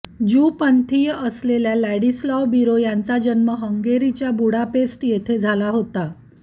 Jew पंथीय असलेल्या Ladislav Biro यांचा जन्म हंगेरीच्या बुडापेस्ट येथे झाला होता